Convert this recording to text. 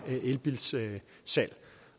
mere elbilsalg